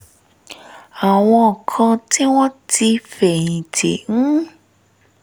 àwọn kan tí wọ́n ti fẹ̀yìn tì ń